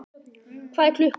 Hvað er klukkan?